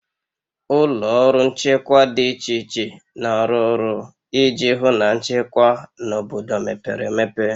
Ụlọ ọrụ nchekwa dị iche iche na-arụ ọrụ iji hụ na nchekwa na obodo mepere emepe